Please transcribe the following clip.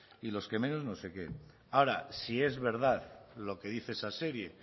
y los que menos primeros no sé qué ahora si es verdad lo que dice esa serie